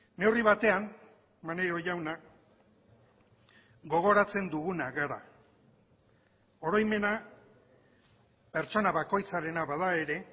neurri batean maneiro jauna gogoratzen duguna gara oroimena pertsona bakoitzarena bada ere